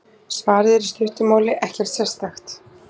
Svarið er í stuttu máli: Ekkert sérstakt!